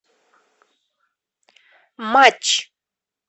матч